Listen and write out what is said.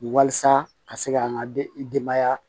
Walasa ka se ka an ka denbaya